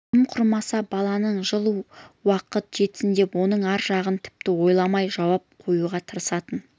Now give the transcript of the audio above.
тым құрмаса баламның жыл уақыты жетсін деп оның ар жағын тіпті ойламай жауып қоюға тырысатын